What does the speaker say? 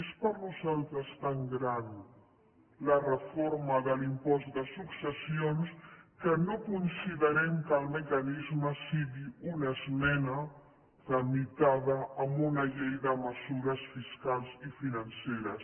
és per a nosaltres tan gran la reforma de l’impost de successions que no considerem que el mecanisme sigui una esmena tramitada amb una llei de mesures fiscals i financeres